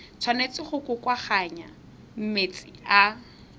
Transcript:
tshwanetse go kokoanngwa mme tsa